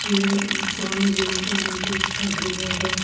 यह एक स्वामी विवेकानंद प्रेक्षागृह है।